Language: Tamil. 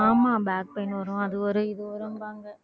ஆமா back pain வரும் அது வரும் இது வரும்பாங்க